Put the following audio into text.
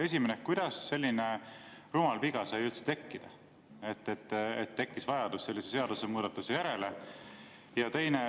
Esimene: kuidas selline rumal viga sai üldse juhtuda, et tekkis vajadus sellise seadusemuudatuse järele?